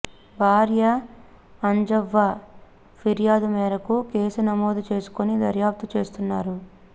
భార్య అంజవ్వ ఫిర్యాదు మేరకు కేసు నమోదు చేసుకొని దర్యాప్తు చేస్తున్నారు